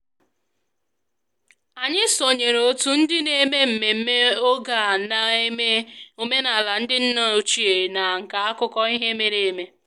Anyị sonyeere otu ndị na-eme mmemme oge a na-eme omenala ndị nna ochie na nka akụkọ ihe mere eme